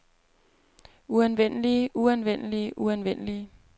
uanvendelige uanvendelige uanvendelige